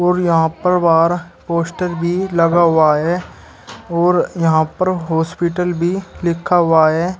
और यहां पर बाहर पोस्टर भी लगा हुआ है और यहां पर हॉस्पिटल भी लिखा हुआ है।